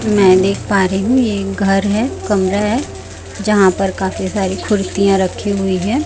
मैं देख पा रही हूं ये घर है कमरा है जहां पर काफी सारी कुर्तियां रखी हुई है।